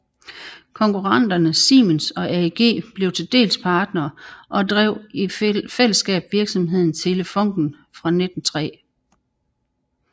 Konkurrenterne Siemens og AEG blev til dels partnere og drev i fællesskab virksomheden Telefunken fra 1903